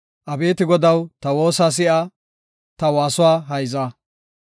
Abeeti Godaw, ta woosa si7a; ta waasuwa hayza.